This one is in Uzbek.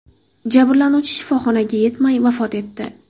Jabrlanuvchi shifoxonaga yetmay vafot etdi.